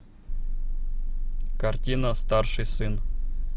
картина старший сын